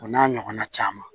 O n'a ɲɔgɔnna caman